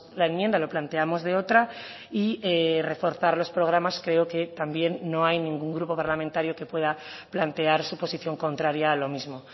la enmienda lo planteamos de otra y reforzar los programas creo que también no hay ningún grupo parlamentario que pueda plantear su posición contraria a lo mismo